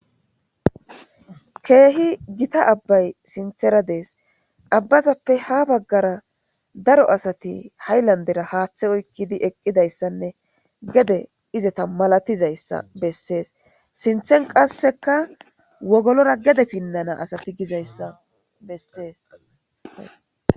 Keehi gitta abbay sintheradees abbazappe ha baggara daro asati hay landera haaththe oykkidi eqqidayssanne gede izeta malatizayssa bessees sinthen qasseka wogolora gede pinnana asati gizayssa bessees